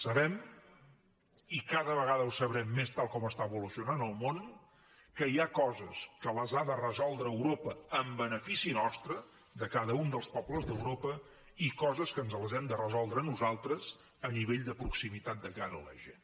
sabem i cada vegada ho sabrem més tal com està evolucionant el món que hi ha coses que les ha de resoldre europa en benefici nostre de cada un dels pobles d’europa i coses que ens les hem de resoldre nosaltres a nivell de proximitat de cara a la gent